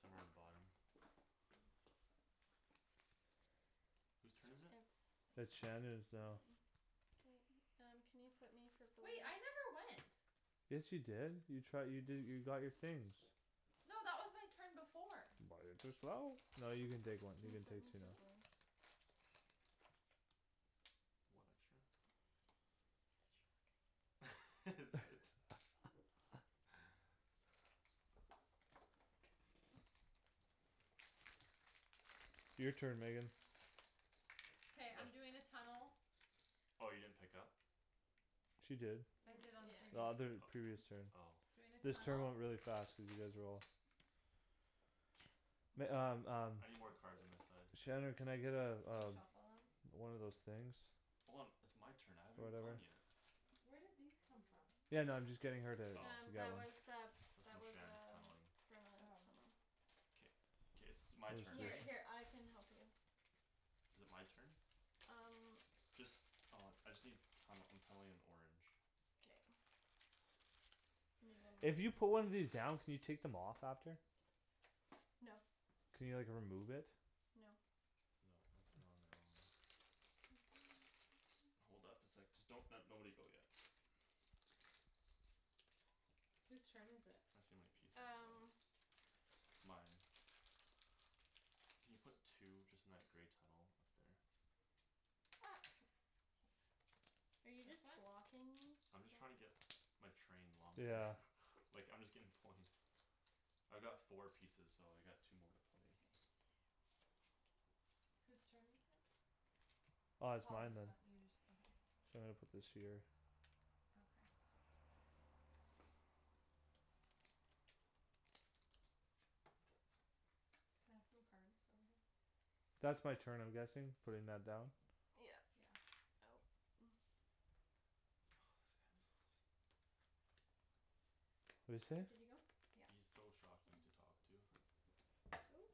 Somewhere on the bottom? Whose turn is it? It's It's Shandryn's now. Mine. K, um, can you put me for Wait, I never went. Yes, you did you try you did you got your things No, that was my turn before. Buy it yourself. No, you can take Can you one, flip you can me take two for now. blues? One extra? Is it? Your turn, Megan. K, I'm doing a tunnel. Oh, you didn't pick up? She did. I did on the The previous other previous turn. O- oh Doing a This turn tunnel went really fast cuz you guys were all Yes. Meg- um um I need more cards on this side. Shandryn, can I get uh Can you uh shuffle them? One of those things Hold on. It's my turn. I haven't even gone Whatever. yet. Where did these come from? Yeah, no, I'm just getting her to Oh. get one That's from Shand's tunneling. Oh. K, k, it's my turn, right? Is it my turn? Just uh I just need tunnel. I'm tunneling in orange. K. If you put one of these down can you take them off after? No. Can you like remove it? No. No, once they're on they're on. Hold up a sec. Just don't nobody go yet. Whose turn is it? Tryin' to see how many pieces I have Um. left. Mine. Can you put two just in that grey tunnel up there? Ops. Are you just This one? blocking me? I'm just trying to get my train longer Yeah. like I'm just getting points. I've got four pieces, so I got two more to play. K. Whose turn is it? Uh, it's Paul mine just then. went, you just, okay Sorry, I put this here. Okay. Can I have some cards over here? That's my turn I'm guessing. Putting that down? Yeah. Yeah Oh What'd you say? He's Yeah. so shocking to talk to.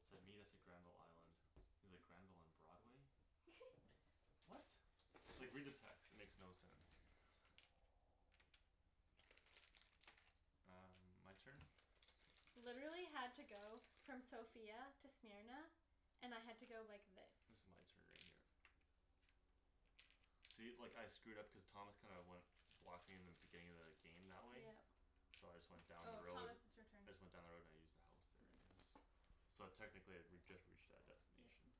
Said meet us at Granville island. He's like, "Granville and Broadway?" What? Like read the text. It makes no sense. Um, my turn? Literally had to go from Sofia to Smyrna, and I had to go like this. This is my turn right here. See, like I screwed up cuz Thomas kinda went Blocked me in the beginning of the game that way. Yeah. So I just went down the Oh, road. Thomas it's your turn. I just went down the road and I used the house there I guess. So technically I re- I just reached that Yeah. destination.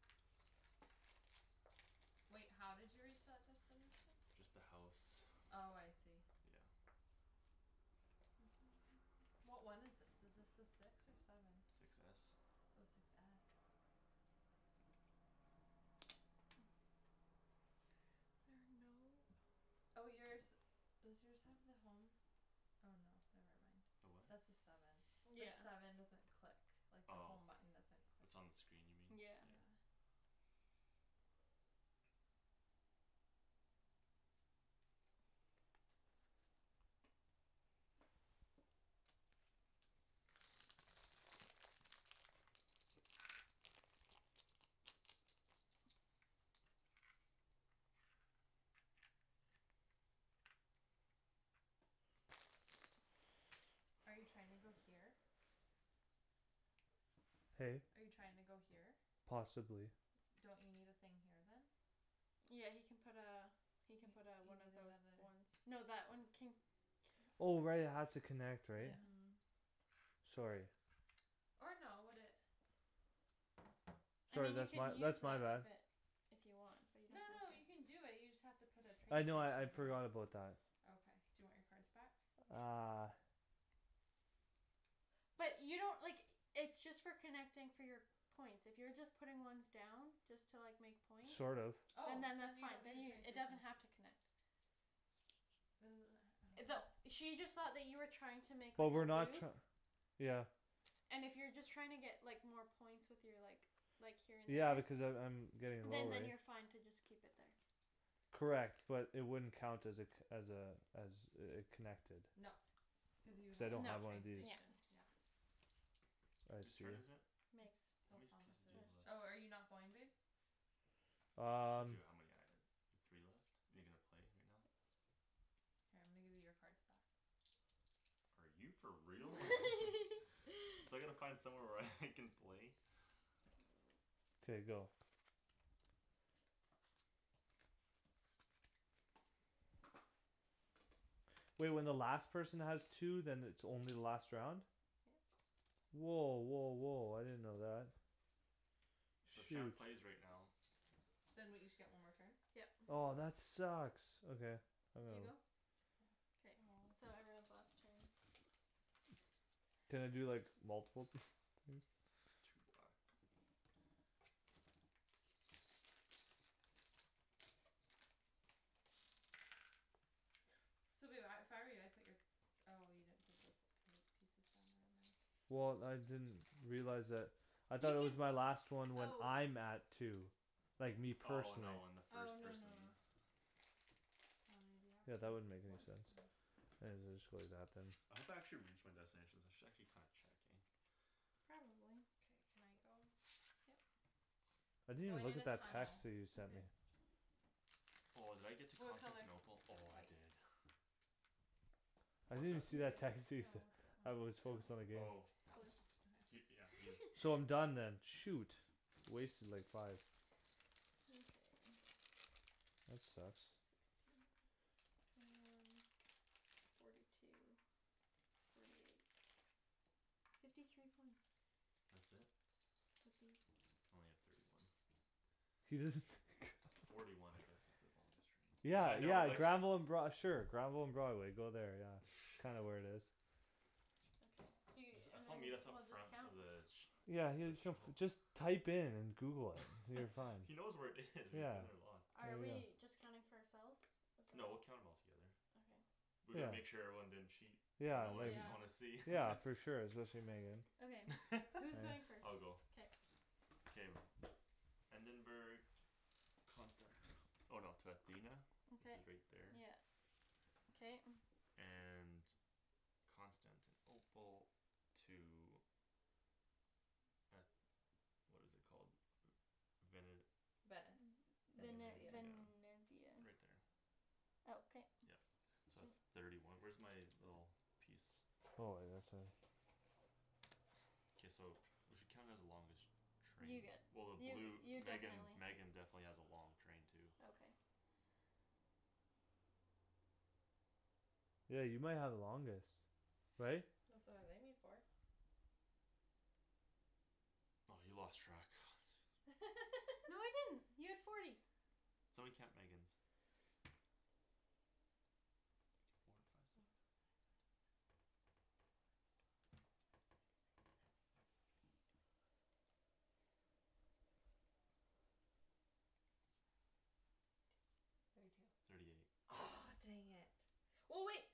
Wait, how did you reach that destination? Just the house. Oh, I see. Yeah. What one is this? Is this the six or seven? Six s. Oh, six s There are no ho- Oh, yours, does yours have the home? Oh, no, never The mind. what? That's the seven. The Yeah. seven doesn't click like the Oh, home button, doesn't click, it's on the screen you mean? yeah. Yeah. Yeah. Are you trying to go here? Hey? Are you trying to go here? Possibly. Don't you need a thing here then? Yeah, he can put uh You He can put a one of you need another those Oh, right, it has to connect, right? Mhm. Yeah. Sorry. Or no would it I Sorry, mean you that's my can use that's my that bad. if it If you want but you No, don't no, have you to can do it, you just have to put a train I know I I'd station here forgot about that. Okay, do you want your cards back? Uh. But you don't, like, it's just for connecting for your points. If you're just putting ones down, just to like make points. Sort of. Oh, And then then that's you fine. don't need a train It does station not have to connect. That she just saw that you were trying to make But up a we're not loop. tr- Yeah. And if you're just trying to get like more points with your like Like here Yeah in because a I'm I'm route. Getting Then low, right? then you're fine to just keep it there. Correct but it wouldn't count as a co- as a As a a connected No, cuz you would Cuz I have to don't put No. a have one of train these. Yeah. station yeah Whose turn is it? It's How still many Thomas' pieces do you have left? Oh, are you not going babe? I told Um. you how many I have. You have three left? Are you gonna play right now? Here I'm gonna give you your cards back Are you for real? So I gotta find somewhere where I can play K, go. Wait, when the last person has two then it's only the last round? Yeah. Woah, woah, woah, I didn't know that. So Shoot. Shand plays right now. Then we each get one more turn? Yep. Oh, that sucks, okay. I got You go? one. Yeah. Aw. Can I do like multiple th- things? Two black. So babe I if I were you I'd put your Oh, you didn't put those pil- pieces down there, never mind Well, I didn't realize that. I thought it was my You last one when can, I'm at two. oh Like me Oh, Oh, no, no, personally. no, when the first person no. How many do you have? Yeah, Two? that wouldn't make One. any sense. One. I'll just go like that then. I hope I actually reach my destinations. I should actually kinda check eh? Probably. Okay, can I go? Yeah. I I'm didn't even going look in at a that text tunnel that you sent me. Okay. Oh, did I get to What color? Constantinople? Oh, I White. did. I What's didn't that? even see that text you No, sent. what's that one? I was focused on the game. Oh. Okay. He, yeah, he's So I'm done then. shoot. Wasted like five. Okay. That sucks. Sixteen, twenty one, forty two Forty eight Fifty three points That's it? I think so. Only have thirty one Forty one I guess with the longest train. Yeah, Yeah, I know yeah, like Granville and Broad- sure Granville and Broadway, go there, yeah. Kinda where it is. I jus- I told meet us up front the village Yeah, he That show shuf- just Type in and google it Until you find He knows where it is. We've Yeah. been there lots. Are we just counting for ourselves? No, we'll count 'em all together Okay. We Yeah. gotta make sure everyone didn't cheat. Y'know Yeah, I wanna like I Yeah. wanna see Yeah, for sure, especially Megan. I'll go. K. Endenburg Constanti- oh no to Athena Which Okay is right there. yeah okay And Constantinople To a What is it called? Vene- Venice Vene- Venezia Venezia, Venesia right there Okay. Yup. So that's thirty one. Where's my little piece? Oh, I didn't see that. K, we should count it as the longest You Train get well the you blue you Megan definitely Megan definitely has a long train too Okay. Yeah, you might have the longest right? That's what I was aiming for. By you lost track No, I didn't. You have forty. Somebody count Megan's One, Four, two, three five, six Four, five, six, seven, eight, nine, ten, eleven, twelve, thirteen, fourteen, fifteen, sixteen, seventeen, eighteen, nineteen, twenty Twenty one, twenty two Thirty two Thirty eight Aw, dang it Well, wait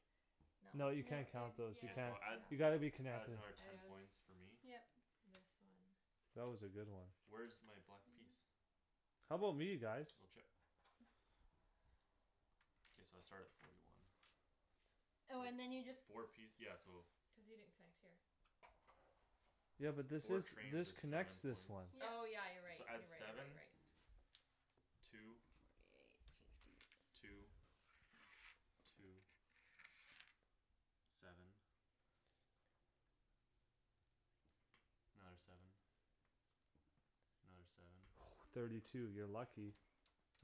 No. No, No, you in yeah, can't count those, you K, can't. so add You Yeah. gotta be yeah add connected. another ten points for me. Yep. This one. That was a good one. Where's my black piece? How 'bout me guys? Blue chip. K, so I start at forty one. Oh, So, and then you just four piec- yeah so Cuz you didn't connect here Yeah. but this Four is trains this is connects seven this points one. Oh, Yeah. yeah, you're right, So you're add right, you're right, you're seven right. Two Forty eight, fifty Two Two Seven Another seven Another seven Thirty two. You're lucky. Three,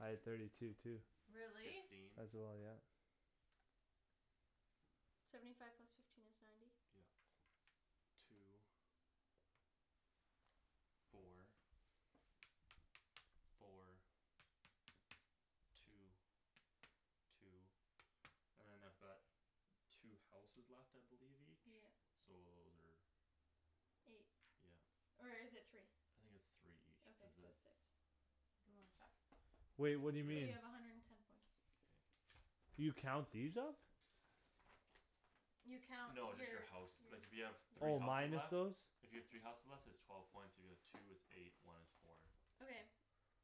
I had thirty five two too. Really? Really? Fifteen As well, yeah. Seventy five plus fifteen is ninety Yeah. Two Four Four Two, two And then I've got Two houses left I believe each, Yeah. so those are Eight, Yeah. or is it three? I think it's three each Okay, cuz the so six Do you wanna check? Wait, what So do you mean? you Yeah. have a hundred and ten points. Okay. You count these up? You count No, you're, just the house. Like if you have yeah three Oh houses minus left those? If you have three houses left it's twelve points, if you have like two it's eight, one is four. Okay.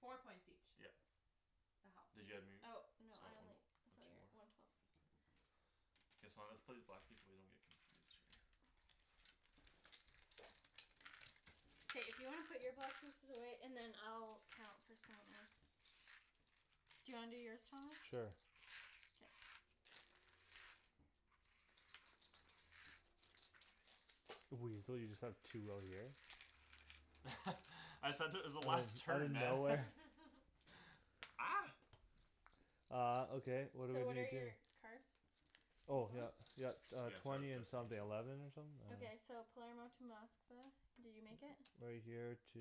Four Four points points each each. Yep. The house. So one more? Or two more? Okay K, so I'm gonna have to put these black piece away so you don't get confused right here. K. If you wanna put your block pieces away, and then I'll count for someone else. Do you wanna do yours, Thomas? Sure. Yeah. Weasel, you just have two out here? I said it was the Out last outta turn, man. nowhere Ah. Uh, okay, what what are So we what are gonna do? your cards? These Oh, yup. ones? Yup, uh, Yeah, start with twenty and something destinations. eleven or something? I don't Okay, so know. Palermo to Moskva, did you make it? Right here to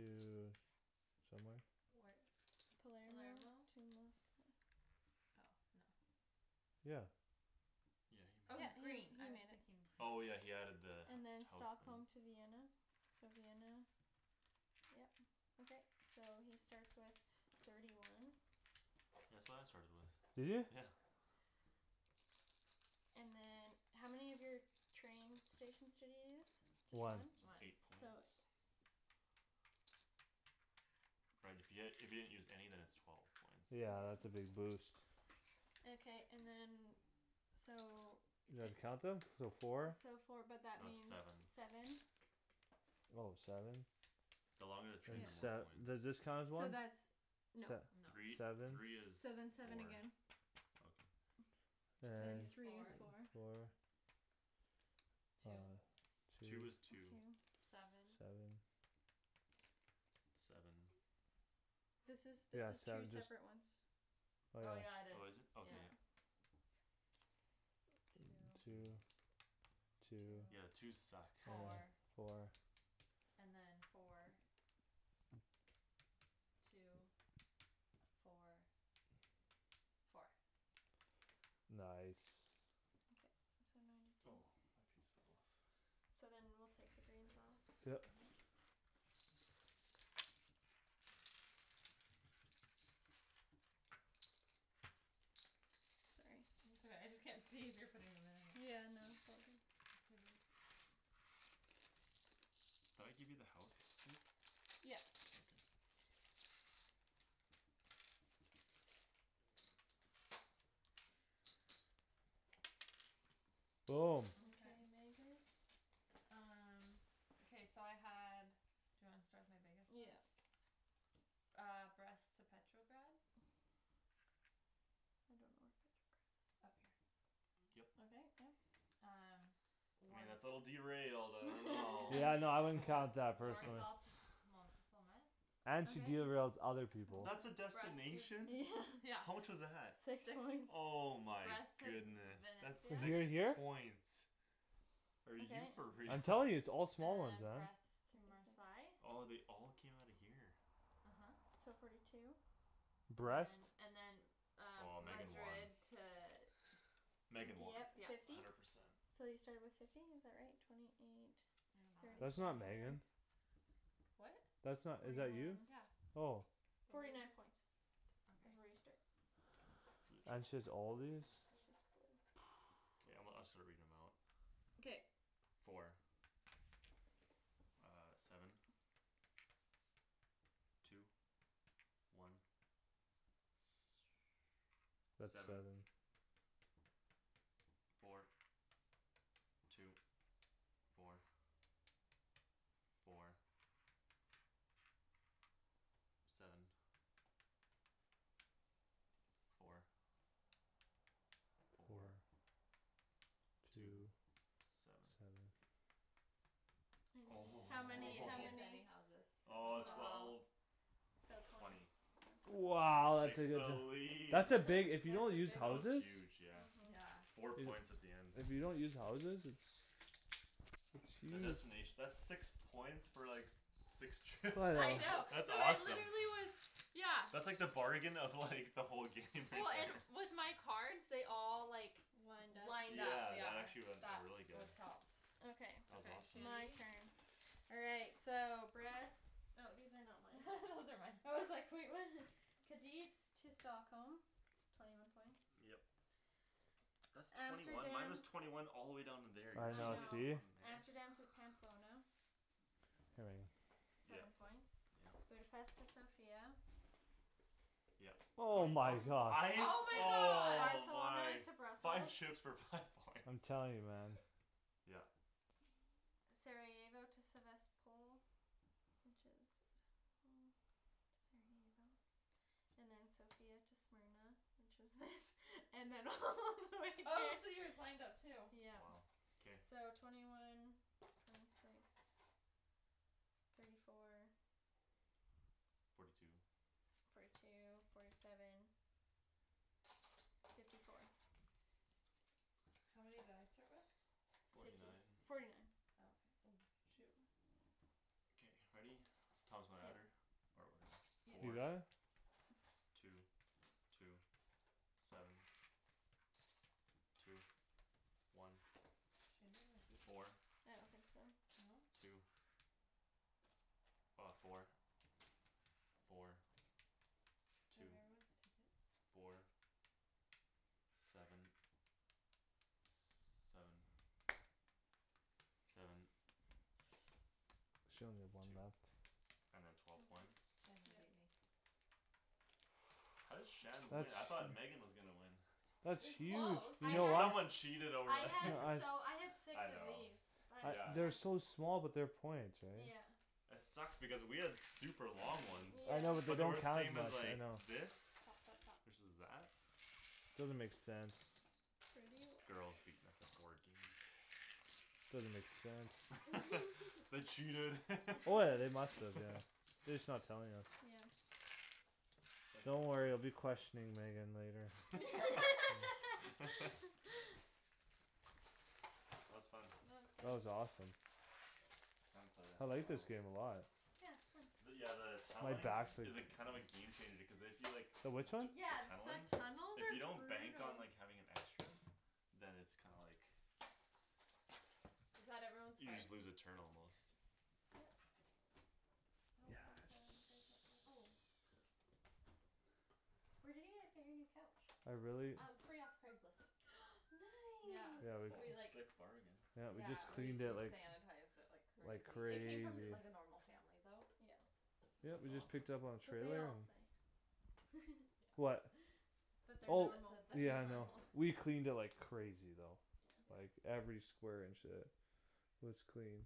Somewhere Where? Palermo Palermo? to Moskva Oh, no. Yeah. Yeah, he Oh, Oh, made he's he's it. green green. I I was mean. thinking blu- Oh, yeah, he had added the And then house there. Stockholm to Vienna, so Vienna Yeah. Okay. So he starts with thirty one Yeah, that's what I started with, Did you? yeah And then How many of your train stations did you use? One. Just One. eight So. points. Right if you had if you hadn't used any then it's twelve points Yeah, that's a big boost. Okay, and then so You know how to count them? So four? So four but that That's means seven seven Oh, seven? The longer the train Then the Yeah. more sev- points. does this count as So one? that's No. Se- No. Three, seven three is So then seven four again Okay. And Three is is four four. Four Two Uh, Two two. is two Two Seven Seven Seven This is, this Yeah, is seven two just separate ones. Oh, Oh, yeah yeah, it is, Oh, is it? Okay, yeah yeah. Two Two Two Two Two Yeah, twos suck Four, Four four. And then four Two, four Four Nice. Okay, so ninety two. Oh, my piece fell off. So then we'll take the green Yeah. Mhm. Sorry. It's all right. I just can't see if you're putting them in or not. Yeah, no Did I give you the house too? Yeah. Okay. Okay, Okay. Memphis. Um. Okay, so I had Do you want to start with my biggest Yeah. one? Ah, Brest to Petrograd I don't know where Petrograd is. Up here. Okay, Yup. yep. Um. I mean War- that's a little derailed. I don't know Yeah, no I wouldn't War- count that personally. Warsaw to And she Okay. derails other people. That's a Twenty six destination? Yeah. Yeah How much was that? Six Six Oh my Brest to V- goodness. Venice, That's To yeah. six here here? points. Are you Okay. for real? I'm telling you, it's all And small ones then then. Brest to Twenty six Marsail Oh, they all came outta here? uh-huh. So forty two. And then Brest. and then Um, Oh, Megan won. Madrid to Di- Megan won Dieppe Yeah. fifty hundred percent. So you started with fifty is that right? Twenty, twenty eight That's not Megan. What? That's not? Twenty Is one that you? Yeah. Oh. Forty night points T- is where okay you started Blue blue And she's chips all these? Okay, I'm gonna I'll start reading them out Okay. Four. Ah, seven, two, one That's Seven, seven. four, two, four, four Seven, four, Four four, two, Two seven Seven How I many? How didn't use many? any houses Oh, so twelve twelve So twenty Twenty One twenty Wow. Takes the lead. That's a big if you don't use That was houses huge, yeah. uh-huh. Yeah. Four points at the end If you don't use houses it's The It's huge. destination that's six points for like Six trip. Yeah, I know, That's no, awesome. literally it was, yeah That's like the bargain of like the whole game Oh, and with my cards they all like Lined up Lined up, Yeah, that yeah actually wen- That really good what helps Okay, That was Okay, awesome. my Shandy. turn. All right, so Brest Oh, these are not mine Those are mine. I was like, "Wait, what?" Kadeets to Stockholm Twenty one points Yep. That's twenty one Amsterdam Minus twenty one all the way down in there I I know, know. see? Amsterdam to Pamplona Here we are. Seven Yep, points yeah. Budapest to Sofia Yeah Hol- Oh that my was points god. five, Oh my god. oh Barcelona my Five to shooks Brussels for five points I'm telling you, man. Yeah. Sarajevo to Sevastpol Which is hmm Sarajevo And then Sofia to Smyrna Which is this And then all the way Oh, so here yours lined up too? Wow, Yeah. k. So twenty one Twenty six Thirty four Forty two Forty two, forty seven Fifty four How many did I start with? Forty nine Forty nine Okay. Oh, shoot. K, ready? Thomas, wanna add her? Or whatever. Yeah. You Four got it? Two, two, seven, two, one, Shandy might beat me four, I don't think so. No? two Ah, four, four, Do I have two, everyone's tickets? four, seven, s- seven, seven She only have one Two left. And then twelve points Mhm. Shandon beat Yeah. me How did Shan That's win? I thought Megan was gonna win. It That's was huge. I close. You You know had what? someone cheated I over had here He- I so I had six I of know these. That's yeah I've they're yeah so small but they're points right? Yeah. It sucked because we had super long ones I know but they But Yeah. they don't were the count as same much, as I like know. this Stop, stop, stop. Versus that Doesn't make sense. Thirty one Girls beating us at board games. Doesn't make sense. They cheated. Oh, yeah, they must have, yeah. They just not telling us. Yeah. That's Don't worry I'll hilarious. be questioning Megan later. That was fun. That That was good. was awesome. I haven't played that I in a like this while. game a lot. Yeah, But it's fun. yeah the My Tunneling back's like is a kinda of a game changer cuz if you like The which one? T- Yeah, tunneling the tunnels If you are don't bank on brutal. like having an extra Then it's kinda like Is that everyone's You cards? just lose a turn almost Nope, there's a there's Yeah. a this Oh. Where did you guys get your new couch? I really Um, free off Craigslist. Yeah. Yeah, Nice. we c- Oh, We like sick bargain. Yeah, we just Yeah, we cleaned it we like sanitized it like Like crazy. It came crazy from like a normal family though. Yeah. Yeah, That's we just awesome. picked up on trailer. Yeah. What? That they're That Oh, that normal. that they're yeah, I know. normal. We cleaned it like crazy though. Like Yeah. Yeah. every square inch, uh Was cleaned.